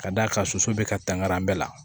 Ka d'a kan soso bɛ ka tanga an bɛɛ la